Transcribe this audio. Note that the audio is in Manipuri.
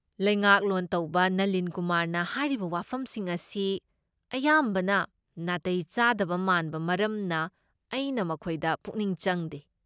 ꯂꯩꯉꯥꯛꯂꯣꯟ ꯇꯧꯕ ꯅꯂꯤꯟ ꯀꯨꯃꯥꯔꯅ ꯍꯥꯏꯔꯤꯕ ꯋꯥꯐꯝꯁꯤꯡ ꯑꯁꯤ ꯑꯌꯥꯝꯕꯅ ꯅꯥꯇꯩ ꯆꯥꯗꯕ ꯃꯥꯟꯕ ꯃꯔꯝꯅ ꯑꯩꯅ ꯃꯈꯣꯏꯗ ꯄꯨꯛꯅꯤꯡ ꯆꯪꯗꯦ꯫